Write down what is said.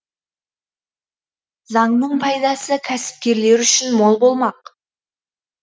заңның пайдасы кәсіпкерлер үшін мол болмақ